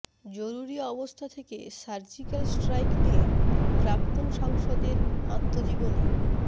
জরুরি অবস্থা থেকে সার্জিক্যাল স্ট্রাইক নিয়ে প্রাক্তন সাংসদের আত্মজীবনী